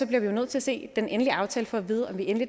vi nødt til at se den endelige aftale for at vide om vi